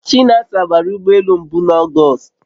Chinasa bara ụgbọ elu mbu na August